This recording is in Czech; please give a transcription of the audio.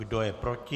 Kdo je proti?